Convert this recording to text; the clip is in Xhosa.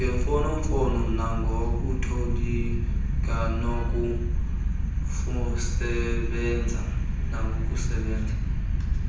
ngemfonomfono nangokutolika bokusebezela